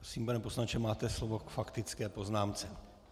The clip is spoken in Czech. Prosím, pane poslanče, máte slovo k faktické poznámce.